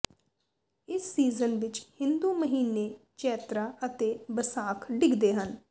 ਇਸ ਸੀਜ਼ਨ ਵਿੱਚ ਹਿੰਦੂ ਮਹੀਨੇ ਚੈਤ੍ਰਾ ਅਤੇ ਬਸਾਖ ਡਿੱਗਦੇ ਹਨ